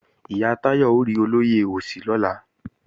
Ìyá Táyọ̀ ó rí olóyè Òsì lọ́la